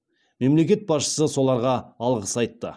мемлекет басшысы соларға алғыс айтты